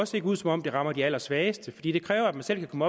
ser ud som om det rammer de allersvageste fordi det kræver at man selv kan